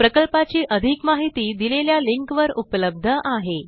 प्रकल्पाची अधिक माहिती दिलेल्या लिंकवर उपलब्ध आहे